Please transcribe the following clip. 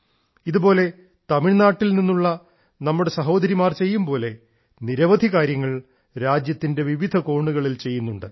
ഇതുപോലെ തമിഴ്നാട്ടിൽ നിന്നുള്ള നമ്മുടെ സഹോദരിമാർ ചെയ്യുന്നതുപോലെ നിരവധി കാര്യങ്ങൾ രാജ്യത്തിന്റെ വിവിധ കോണുകളിൽ ചെയ്യുന്നുണ്ട്